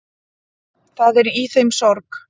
Það er í þeim sorg.